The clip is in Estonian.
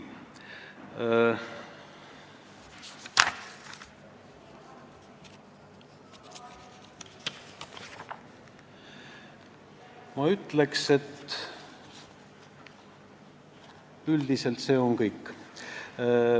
Ma ütleks, et üldiselt on see kõik.